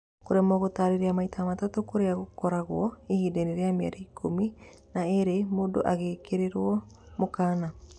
Kũremwo gũtarĩria maita matatũ kũrĩa ũgũkorwo ihindainĩ rĩa mĩeri ĩkũmi na ĩrĩ mũndũ agekĩrĩrwo mũkana.